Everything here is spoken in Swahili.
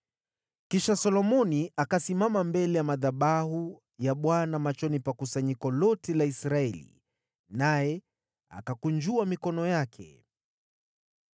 Kisha Solomoni akasimama mbele ya madhabahu ya Bwana machoni pa kusanyiko lote la Israeli, naye akakunjua mikono yake.